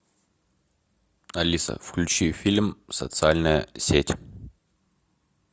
алиса включи фильм социальная сеть